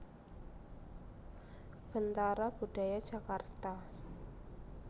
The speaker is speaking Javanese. Bentara Budaya Jakarta